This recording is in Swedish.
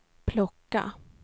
plocka